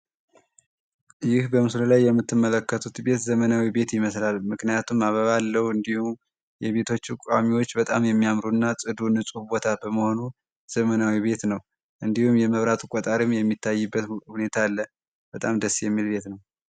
ይህ በምስሉ ላይ የምትመለከቱት ቤት ዘመናዊ ቤት ይመሰላል ምክንያቱም አበባ አለው። እንዲሁ የቤቶች ቋሚዎች በጣም የሚያምሩና ጽዶ በመሆኑ ዘመናዊ ቤት ነው። እንዲሁም የመብራት ቆጣሪም የሚታይበት ሁኔታ አለ በጣም ደስ የሚለው ነው።